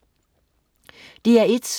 DR1: